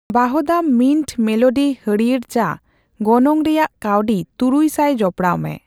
ᱣᱟᱦᱫᱟᱢ mint melody ᱦᱟᱲᱭᱟᱹᱨ ᱪᱟ ᱜᱚᱱᱚᱝ ᱨᱮᱭᱟᱜ ᱠᱟᱣᱰᱤ ᱛᱩᱨᱩᱭ ᱥᱟᱭ ᱡᱚᱯᱚᱲᱟᱣᱢᱮ